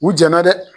U jɛnna dɛ